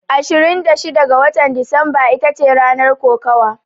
Ashirin da shida da watan Disamba itace ranar kokawa.